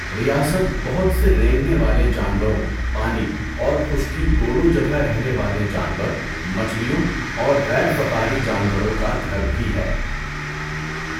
ریاست بہت سے رینگنے والے جانوروں، پانی اور خشکی دونوں جگہ رہنے والے جانور، مچھلیوں اور غیر فقاری جانوروں کا گھر بھی ہے۔